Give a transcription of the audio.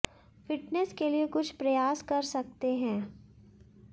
fitness के लिए कुछ प्रयास कर सकते हैं